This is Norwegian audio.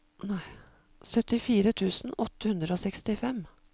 syttifire tusen åtte hundre og sekstifem